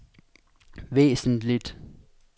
væsentligt